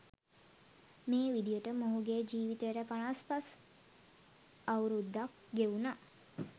මේ විදිහට මොහුගේ ජීවිතය පනස් පස් අවුරුද්දක් ගෙවුනා.